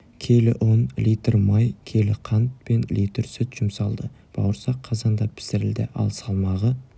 келі ұн литр май келі қант пен литр сүт жұмсалды бауырсақ қазанда пісірілді ал салмағы